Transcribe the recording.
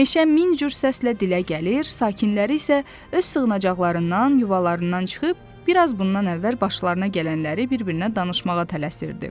Meşə min cür səslə dilə gəlir, sakinləri isə öz sığınacaqlarından, yuvalarından çıxıb biraz bundan əvvəl başlarına gələnləri bir-birinə danışmağa tələsirdi.